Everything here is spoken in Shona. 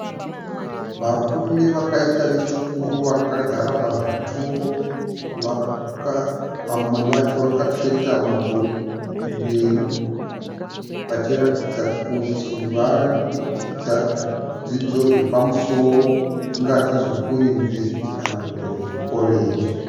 Varume vakaita vechikuru vakagara zvazvituro. Vamwe vacho vakasveta mabhuku kumberi vachiratidza kuti varikudzidza zvidzidzo zvepamusoro zvatingati zveku yunivhesiti kana kuti zveku koreji.